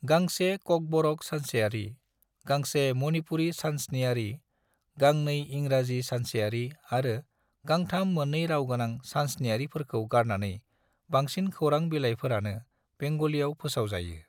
गांसे ककबरक सानसेयारि, गांसे मणिपुरी सानस्नियारि, गांनै इंराजि सानसेयारि आरो गांथाम मोन्नै राव गोनां सानस्नियारिफोरखौ गारनानै बांसिन खौरां बिलायफोरानो बेंगलीआव फोसाव जायो।